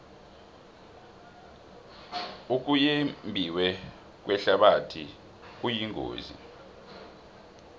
ukuyembiwe kwehlabathi kuyingozi